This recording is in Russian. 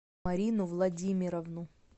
марину владимировну